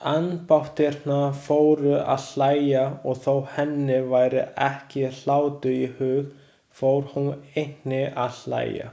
Ambáttirnar fóru að hlæja og þó henni væri ekki hlátur í hug fór hún einnig að hlæja.